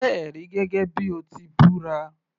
Jẹ́ ẹ̀rí gẹ́gẹ́ bíi o ti búra